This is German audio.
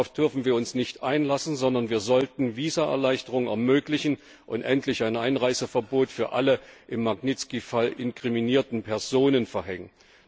Darauf dürfen wir uns nicht einlassen, sondern wir sollten Visaerleichterungen ermöglichen und endlich ein Einreiseverbot für alle im Fall Magnitski inkriminierten Personen verhängen.